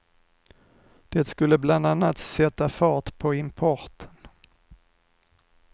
Det skulle bland annat sätta fart på importen.